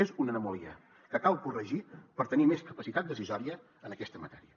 és una anomalia que cal corregir per tenir més capacitat decisòria en aquesta matèria